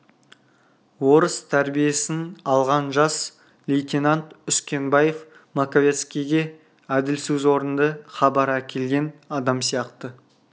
орыс тәрбиесін алған жас лейтенант үскенбаев маковецкийге әділ сөз орынды хабар әкелген адам сияқты